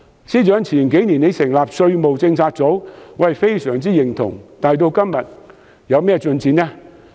司長在數年前成立稅務政策組，對此我相當認同，但該小組的工作至今有何進展？